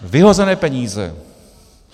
Vyhozené peníze.